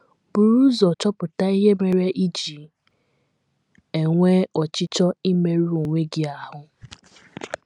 Buru ụzọ chọpụta ihe mere i ji enwe ọchịchọ imerụ onwe gị ahụ́.